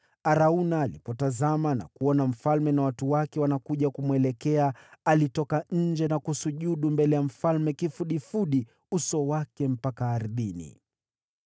Arauna alipotazama na kumwona mfalme na watu wake wakija kumwelekea, alitoka nje na kusujudu mbele ya mfalme kifudifudi, akiuinamisha uso wake ardhini.